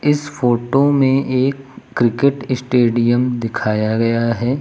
इस फोटो में एक क्रिकेट स्टेडियम दिखाया गया है।